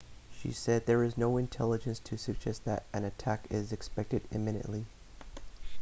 she said there is no intelligence to suggest that an attack is expected imminently